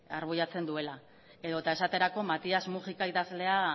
argudiatzen duela edota esaterako matias mujika idazlea